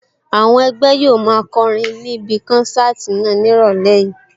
Àwọn ẹgbẹ́ yóò máa kọrin ní ibí kánsáàtì náà ní ìrọ̀lẹ́ yìí